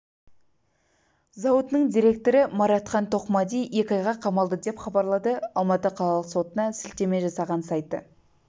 зауытының директоры мұратхан тоқмади екі айға қамалды деп хабарлады алматы қалалық сотына сілтеме жасаған сайты